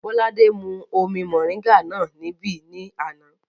Bọ́ládé mú omi mọ̀ríńgà náà níbí ní àná